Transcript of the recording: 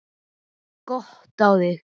Gott á þig.